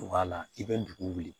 Wa la i bɛ dugu wuli